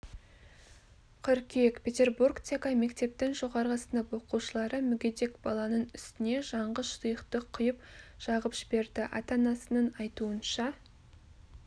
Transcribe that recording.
қыркүйек петербургтегі мектептің жоғары сынып оқушылары мүгедек баланың үстіне жанғыш сұйықтық құйып жағып жіберді ата-анасының айтуынша